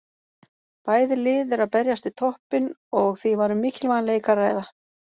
Bæði lið eru að berjast við toppinn og því var um mikilvægan leik að ræða.